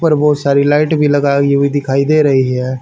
ऊपर बहोत सारी लाइट भी लगाई हुई दिखाई दे रही है।